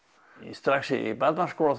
strax í barnaskóla